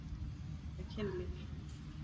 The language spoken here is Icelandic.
Hvað er kynlíf?